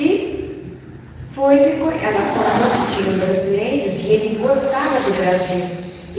E foi... ela contou que tinham brasileiros e ele gostava do Brasil.